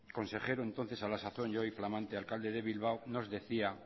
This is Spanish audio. consejero entonces a la sazón y hoy flamante alcalde de bilbao nos decía